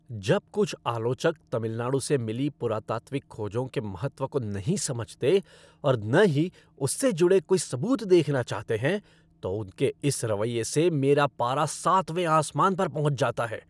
जब कुछ आलोचक तमिलनाडु से मिली पुरातात्विक खोजों के महत्व को नहीं समझते और न ही उससे जुड़े कोई सबूत देखना चाहते हैं, तो उनके इस रवैये से मेरा पारा सातवें आसमान पर पहुँच जाता है।